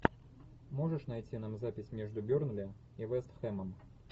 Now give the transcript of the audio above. можешь найти нам запись между бернли и вест хэмом